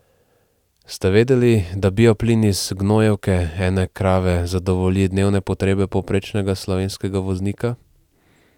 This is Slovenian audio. Ste vedeli, da bioplin iz gnojevke ene krave zadovolji dnevne potrebe povprečnega slovenskega voznika?